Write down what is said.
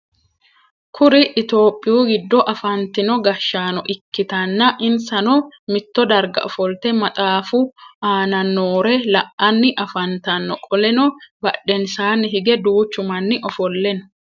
Kuri itophiyu gido afantino gashaano ikitanna insano mitto darga ofolte maxaafu aanna noore la'anni afantano. Qoleno badhensaanni hige duuchu manni ofole no.